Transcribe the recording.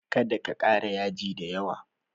Kada ka ƙara yaji da yawa!